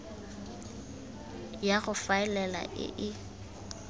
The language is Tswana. ya go faela e e